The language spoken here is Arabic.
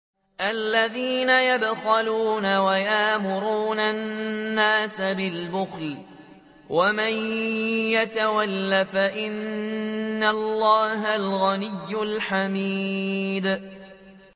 الَّذِينَ يَبْخَلُونَ وَيَأْمُرُونَ النَّاسَ بِالْبُخْلِ ۗ وَمَن يَتَوَلَّ فَإِنَّ اللَّهَ هُوَ الْغَنِيُّ الْحَمِيدُ